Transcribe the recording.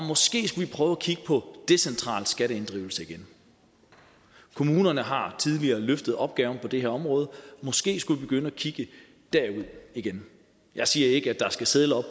måske skulle vi prøve at kigge på decentral skatteinddrivelse igen kommunerne har tidligere løftet opgaven på det her område måske skulle vi begynde at kigge derud igen jeg siger ikke at der skal sedler